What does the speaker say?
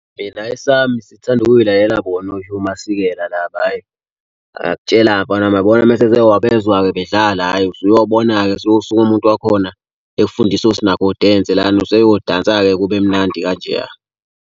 Mina esami sithanda ukuyilalela bona oHugh Masikela laba ayi. Ngikutshela-ke mfana wami uyabona uma sewabezwa-ke bedlala, hhayi usuyobona-ke suyosuka umuntu wakhona ekufundisa lana useyodansa-ke kube mnandi kanjeya.